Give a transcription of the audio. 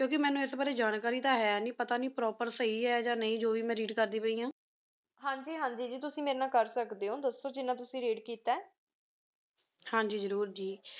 ਕੁੰਕ੍ਯ ਮੇਨੂ ਇਸ ਬਰੀ ਜਾਣਕਾਰੀ ਤਾ ਹੈ ਨਹੀ ਪਤਾ ਨਹੀ Proper ਸਹੀ ਹੈ ਯਾ ਨਹੀ ਜੋ ਵੇ ਮੈਂ Read ਕਰਦੀ ਪਾਈ ਆਂ ਹਾਂਜੀ ਹਾਂਜੀ ਜੀ ਤੁਸੀਂ ਮੇਰੇ ਨਾਲ ਕਰ ਸਕਦੇ ਹੋ ਦਸੋ ਜਿਨਾ ਤੁਸੀਂ Read ਕੀਤਾ ਹੈ ਹਾਂਜੀ ਜ਼ਰੂਰ ਜੀ